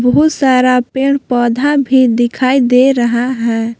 बहुत सारा पेड़ पौधा भी दिखाई दे रहा है।